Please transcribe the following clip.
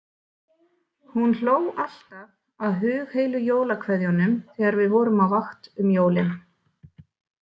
Hún hló alltaf að hugheilu jólakveðjunum þegar við vorum á vakt um jólin.